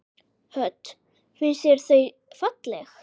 Hödd: Finnst þér þau falleg?